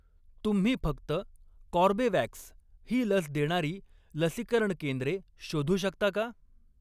तुम्ही फक्त कॉर्बेवॅक्स ही लस देणारी लसीकरण केंद्रे शोधू शकता का?